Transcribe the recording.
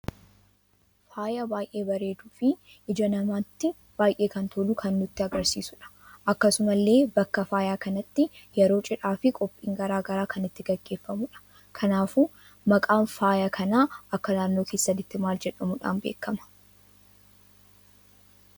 Faayaa baay'ee baareeduu fi ija namatti baay'ee kan tolu kan nutti argarsiisudha. Akkasumalle bakka faayaa kanatti yeroo cidhaa fi qophiin garaagaraa kan itti geggeefamudha. kanaafuu maqaan faayaa kana akka naannoo keessanitti mal jedhamuudhan beekama?